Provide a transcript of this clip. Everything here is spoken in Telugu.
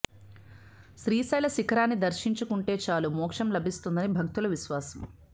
శ్రీశైల శిఖరాన్ని దర్శించుకుంటే చాలు మోక్షం లభిస్తుందని భక్తుల విశ్వాసం